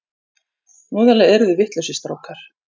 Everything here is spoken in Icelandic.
Voðalega eruð þið vitlausir strákar!